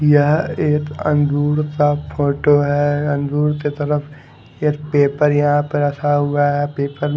यह एक अंगूर का फोटो है अंगूर के तरफ एक पेपर यहां पर रखा हुआ है पेपर --